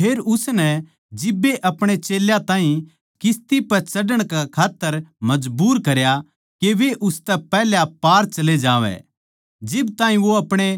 फेर उसनै जिब्बे अपणे चेल्यां ताहीं किस्ती पै चढ़ण कै खात्तर मजबूर करया के वे उसतै पैहल्या पार चले जावैं जिब ताहीं वो अपणे